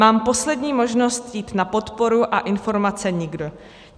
Mám poslední možnost jít na podporu, a informace nikde.